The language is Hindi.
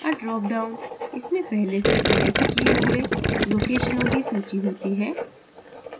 a drop down – इसमें पहले से connected किए हुए locations की सूची होती है